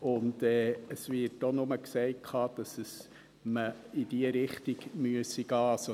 Und es wird auch nur gesagt, dass man in diese Richtung gehen müsse.